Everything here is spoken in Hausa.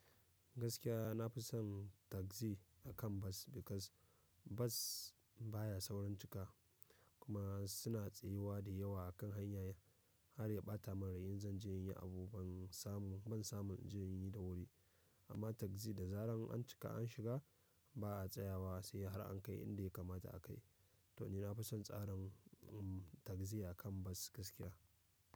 Gaskiya na fi son taxi akan bus because bus baya saurin cika kuma suna tsayuwa da yawa a kan hanya har ya ɓata min rai in zan je in yi abu ban samu, ban samu in je in yi da wuri. Amma taxi da zarar an cika an shiga ba a tsayawa sai har an kai inda ya kamata a kai. To ni na fi son tsarin mm taxi a kan bus gaskiya.